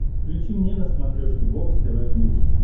включи мне на смотрешке бокс тв плюс